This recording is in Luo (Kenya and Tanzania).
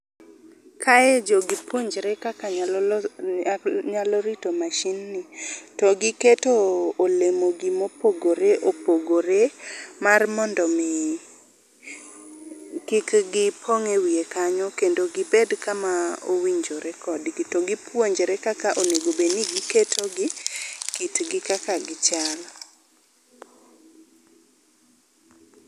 Kae jogi puonjre kaka nyalo rito mashin ni to giketo olemo gi mopogore opogore mar mondo mi kik gipong e wiye kanyo kendo gibed kama owinjore kodgi to gipuonjre kaka owinjo obed ni giketo gi, kitgi kaka gichal